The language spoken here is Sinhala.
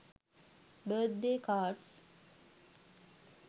birthday cards